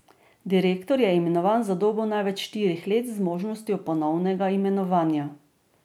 Direktor je imenovan za dobo največ štirih let z možnostjo ponovnega imenovanja.